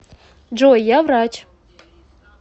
джой я врач